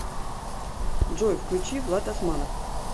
джой включи влад османов